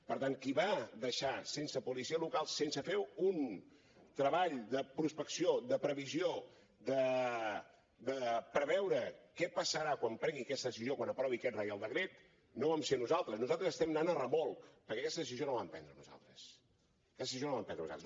per tant qui va deixar sense policia local sense fer un treball de prospecció de previsió de preveure què passarà quan prengui aquesta decisió quan aprovi aquest reial decret no vam ser nosaltres nosaltres estem anant a remolc perquè aquesta decisió no la vam prendre nosaltres aquesta decisió no la vam prendre nosaltres